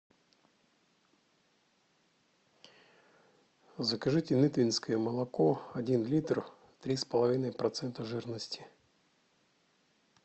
закажите литвинское молоко один литр три с половиной процента жирности